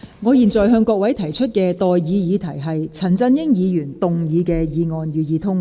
我現在向各位提出的待議議題是：陳振英議員動議的議案，予以通過。